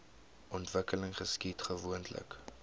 ontwikkeling geskied gewoonlik